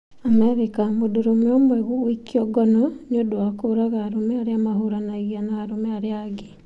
Amerika: Mũndũrũme ũmwe gũikio ngono nĩ ũndũ wa kũũraga arũme arĩa mahũranagia na arũme arĩa angĩ